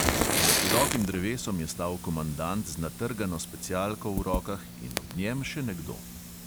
Za širokim drevesom je stal komandant z natrgano specialko v rokah in ob njem še nekdo.